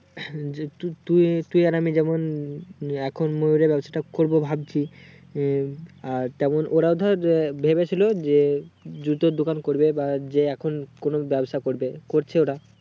যে তু~তুই তুই আর আমি যেমন এখন মুয়ূরের ব্যবসা তা করবো ভাবছি উম আর তেমন ওরাও ধর ভবে ছিল যে জুতোর দোকান করবে বা যে এখন কোনো ব্যবসা করবে করছে ওরা